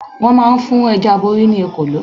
Wón máa ń fún Ẹja Aborí ní Ekòló.